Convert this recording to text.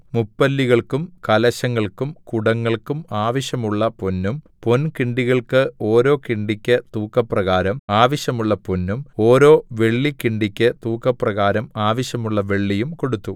മുപ്പല്ലികൾക്കും കലശങ്ങൾക്കും കുടങ്ങൾക്കും ആവശ്യമുള്ള പൊന്നും പൊൻകിണ്ടികൾക്ക് ഓരോ കിണ്ടിക്ക് തൂക്കപ്രകാരം ആവശ്യമുള്ള പൊന്നും ഓരോ വെള്ളിക്കിണ്ടിക്ക് തൂക്കപ്രകാരം ആവശ്യമുള്ള വെള്ളിയും കൊടുത്തു